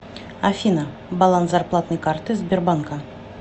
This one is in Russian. афина баланс зарплатной карты сбербанка